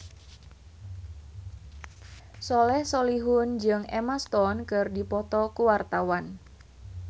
Soleh Solihun jeung Emma Stone keur dipoto ku wartawan